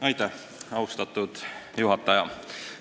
Aitäh, austatud juhataja!